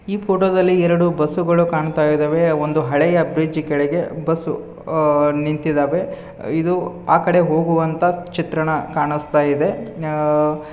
ಈ ಫೋಟೋ ದಲ್ಲಿ ಎರಡು ಬಸ್ಸು ಗಳು ಕಾಣುತ್ತಾ ಇದ್ದಾವೆ. ಒಂದು ಹಳೆಯ ಬ್ರಿಡ್ಜ್ ಕೆಳಗೆ ಬಸ್ ನಿಂತಿದ್ದಾವೆ. ಇದು ಆಕಡೆ ಹೋಗುವಂತ ಚಿತ್ರಣ ಕಾಣುಸ್ತಾ ಇದೆ. ಆಹ್ --